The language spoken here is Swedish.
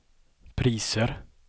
priser